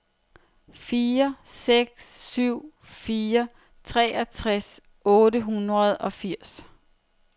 fire seks syv fire treogfirs otte hundrede og firs